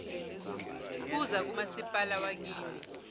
buza kumasipala wakini